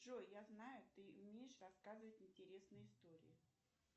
джой я знаю ты умеешь рассказывать интересные истории